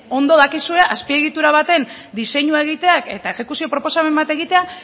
ondo dakizue azpiegitura baten diseinua egiteak eta exekuzio proposamen bat egitea